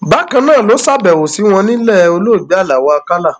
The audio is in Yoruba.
bákan náà ló ṣàbẹwò sí wọn nílẹ olóògbé aláọ àkàlà